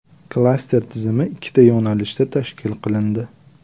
Klaster tizimi ikkita yo‘nalishda tashkil qilindi.